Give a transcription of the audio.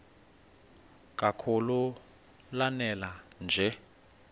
kakhulu lanela nje